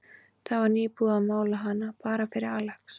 Það var nýbúið að mála hana, bara fyrir Alex.